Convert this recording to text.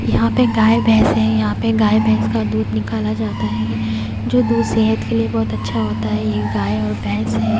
यहां पे गाय भैंस है यहां पे गाय भैंस का दूध निकाला जाता है जो दूध सेहत के लिए बहुत अच्छा होता है ये गाय और भैंस है।